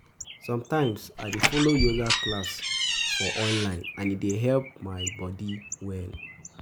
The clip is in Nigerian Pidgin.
Sometimes I dey follow yoga class for online and e dey help my um body um well.